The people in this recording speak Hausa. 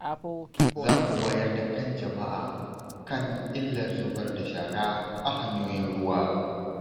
Za mu wayar da kan jama’a kan illar zubar da shara a hanyoyin ruwa.